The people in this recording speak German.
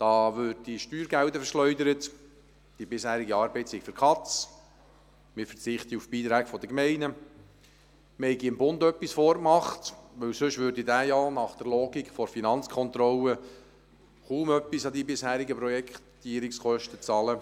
Da würden Steuergelder verschleudert, die bisherige Arbeit sei für die Katz, wir verzichteten auf die Beiträge der Gemeinden, wir hätten dem Bund etwas vorgemacht, denn sonst würde dieser ja nach der Logik der Finanzkontrolle kaum etwas an die bisherigen Projektierungskosten zahlen.